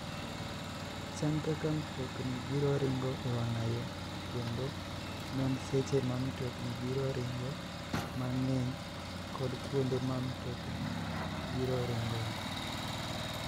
Chan kaka mtokni biro ringo e wang'a yo kendo non seche ma mtokni biro ringoe mang'eny kod kuonde ma mtokni biro ringoe.